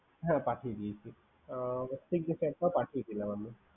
হ্যা পাঠিয়ে দিয়েছি হ্যা পাঠিয়ে দিলাম